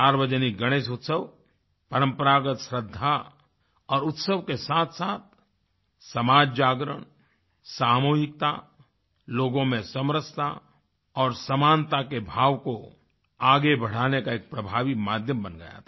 सार्वजनिक गणेश उत्सव परम्परागत श्रद्धा और उत्सव के साथसाथ समाजजागरण सामूहिकता लोगों में समरसता और समानता के भाव को आगे बढ़ाने का एक प्रभावी माध्यम बन गया था